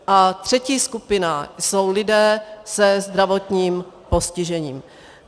A třetí skupina jsou lidé se zdravotním postižením.